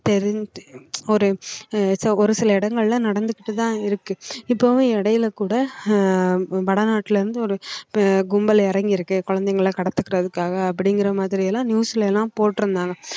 ஒரு ச~ ஒரு சில இடங்கள்ல நடந்துகிட்டுதான் இருக்கு இப்பவும் இடையில கூட ஆஹ் வடநாட்டுல இருந்து ஒரு ப~ கும்பல் இறங்கியிருக்கு குழந்தைகளை கடத்திக்கிறதுக்காக அப்படிங்கிற மாதிரி எல்லாம் news லாம் போட்டிருந்தாங்க